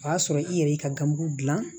O y'a sɔrɔ i yɛrɛ y'i ka ganmugu dilan